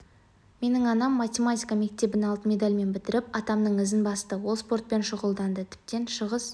менің анам математика мектебін алтын медальмен бітіріп атамның ізін басты ол спортпен шұғылданды тіптен шығыс